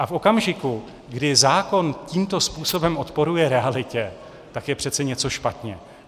A v okamžiku, kdy zákon tímto způsobem odporuje realitě, tak je přece něco špatně.